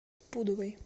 пудовой